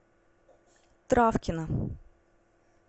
травкина